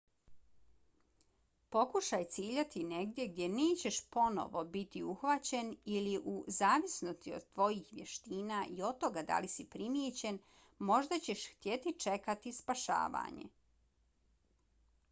pokušaj ciljati negdje gdje nećeš ponovo biti uhvaćen ili u zavisnosti od tvojih vještina i od toga da li si primijećen možda ćeš htjeti čekati spašavanje